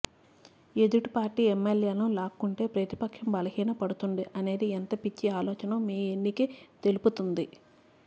ఎదుటి పార్టీ ఎమ్మెల్ల్యేలను లాక్కుంటే ప్రతిపక్షం బలహీనపడుతుంది అనేది ఎంత పిచ్చి ఆలోచనో మీ ఎన్నికే తెలుపుతుంది